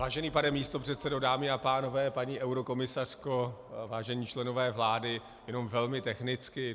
Vážený pane místopředsedo, dámy a pánové, paní eurokomisařko, vážení členové vlády, jenom velmi technicky.